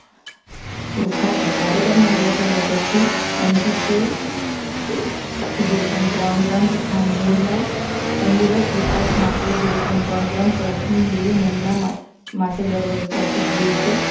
ખાતર વાવેતરના બે અઠવાડિયા પછી એનપીકે જીરો પોઇન્ટ ત્રણ ગ્રામ તથા મૂળના તંદુરસ્ત વિકાસ માટે જીરો પોઇન્ટ ત્રણ ગ્રામ પ્રથમ બે મહિના માટે દર વૈકલ્પિક દિવસે